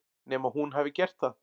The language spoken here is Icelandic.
Nema hún hafi gert það.